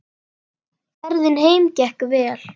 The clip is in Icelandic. Ferðin heim gekk vel.